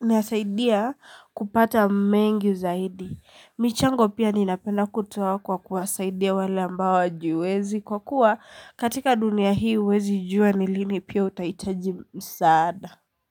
inasaidia kupata mengi zaidi. Michango pia ninapenda kutoa kwa kuasaidia wale ambao wajiwezi kwa kuwa katika dunia hii uwezi jua nilini pia utahitaji msaada.